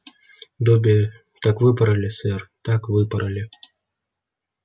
добби так выпороли сэр так выпороли